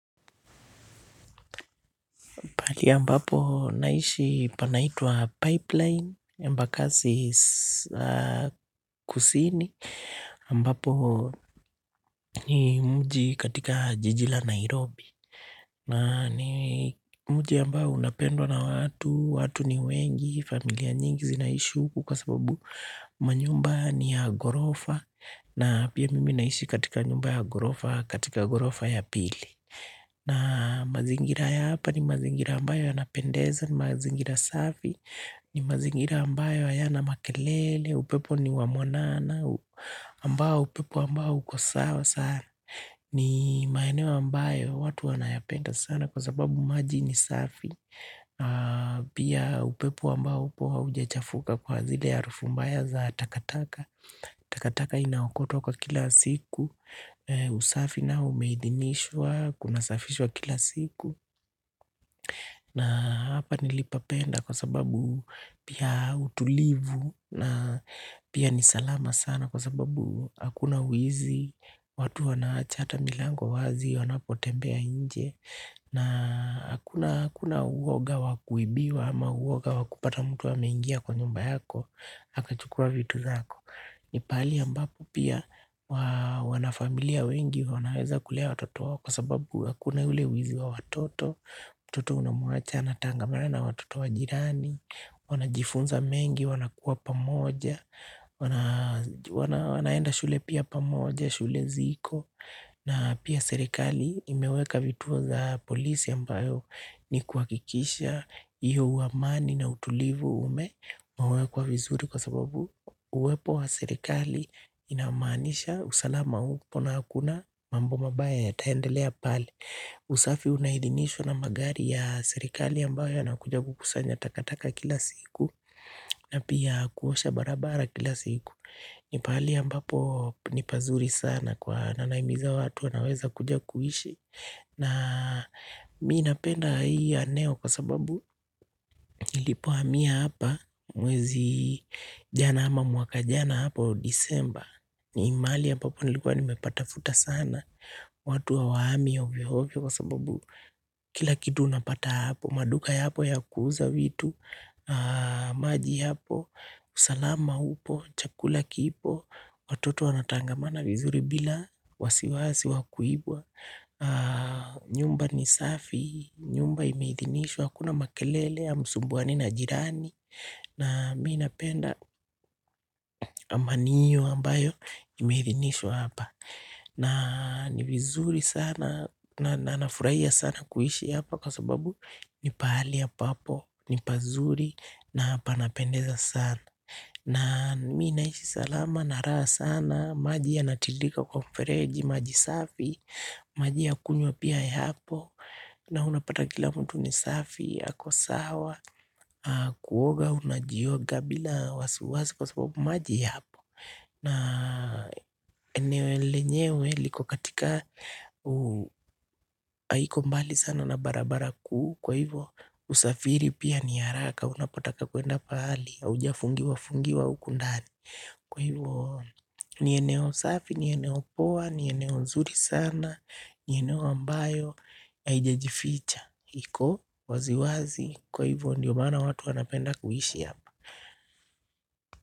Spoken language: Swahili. Pahali ambapo naishi panaitwa Pipeline, Embakasi kusini, ambapo ni mji katika jiji la Nairobi. Na, ni mji ambao unapendwa na watu, watu ni wengi, familia nyingi zinaishi huku kwa sababu manyumba ni ya ghorofa. Na pia mimi naishi katika nyumba ya ghorofa, katika ghorofa ya pili. Na, mazingira ya hapa, ni mazingira ambayo yanapendeza, ni mazingira safi, ni mazingira ambayo hayana makelele, upepo ni wa mwanana, ambao upepo ambao uko sawa sana. Ni maeneo ambayo watu wanayapenda sana. Kwa sababu maji ni safi, pia upepo ambao upo haujachafuka kwa zile ya harufu mbaya za takataka. Takataka inaokotwa kwa kila siku usafi nao umeidhinishwa, kunasafishwa kila siku na hapa nilipapenda, kwa sababu, pia utulivu, na pia nisalama sana, kwa sababu hakuna wizi watu wanaacha hata milango wazi wanapotembea nje. Na hakuna hakuna uwoga wakuibiwa, ama uwoga wa kupata mtu amengia kwa nyumba yako, akachukua vitu zako ni pahali ambapo pia, wanafamilia wengi wanaweza kulea watoto wao, kwa sababu hakuna ule wizi wa watoto. Mtoto unamuacha anatangamana na watoto wa jirani, wanajifunza mengi, wanakuwa pamoja, wanaenda shule pia pamoja, shule ziko na, pia serikali imeweka vituo za polisi ambayo, ni kuhakikisha hiyo uamani, na utulivu umewekwa vizuri kwa sababu uwepo wa serekali, inamanisha usalama upo, na hakuna mambo mabaya yataendelea pale. Usafi unahidinishwa na magari ya serikali, ambayo hiyo ina kuja kukusanya takataka kila siku, na pia kuosha barabara kila siku. Nipahali ambapo ni pazuri sana, kwa na nahimiza watu wanaweza kuja kuishi. Na mimi napenda hii eneo, kwa sababu nilipohamia hapa mwezi jana, ama mwaka jana hapo Disemba ni mahali ambapo nilikuwa nimepatafuta sana watu hawahami ovyo ovyo, kwa sababu, kila kitu unapata hapo. Maduka ya hapo ya kuuza vitu maji hapo, usalama upo, chakula kipo, watoto wanatangamana vizuri bila wasiwasi wa kuibwa nyumba ni safi, nyumba imeidhinishwa. Hakuna makelele, hamsumbuani na jirani na mimi napenda, amani hiyo ambayo, imeidhinishwa hapa na, ni vizuri sana, na nafurahia sana kuishi hapa. Kwa sababu, ni pahali ambapo ni pazuri na panapendeza sana na mimi naishi salama, na raha sana, maji ya natilika kwa mfereji, maji safi maji ya kunywa pia yapo, na unapata kila mtu ni safi ako sawa, kuoga unajioga bila wasiwasi, kwa sababu maji ya hapo. Na lenyewe liko katika, haiko mbali sana na barabara kuu, kwa hivyo usafiri pia ni haraka, unapotaka kwenda pahali, haujafungiwa fungiwa huku ndani. Kwa hivyo, ni eneo safi, ni eneo poa, ni eneo nzuri sana, ni eneo ambayo, haijajificha, iko, waziwazi, kwa hivyo ndio maana watu wanapenda kuishi hapa.